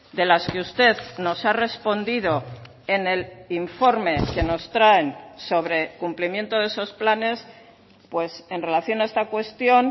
de las que usted nos ha respondido en el informe que nos traen sobre cumplimiento de esos planes pues en relación a esta cuestión